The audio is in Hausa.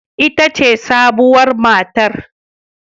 Ita ce sabuwar matar